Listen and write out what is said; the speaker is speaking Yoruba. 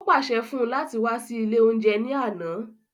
Ó pàṣẹ fún-un láti wá sí ilé oúnjẹ ní àna